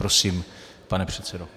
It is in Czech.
Prosím, pane předsedo.